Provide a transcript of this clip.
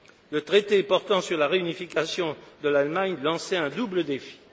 Le traité portant sur la réunification de l'Allemagne lançait un double défi.